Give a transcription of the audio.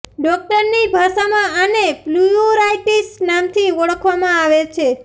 ડોક્ટરની ભાષામાં આને પ્લ્યુરાઈટિસ નામ થી જાણવામાં આવે છે